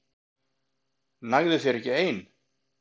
Nægði þér ekki ein?